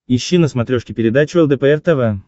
ищи на смотрешке передачу лдпр тв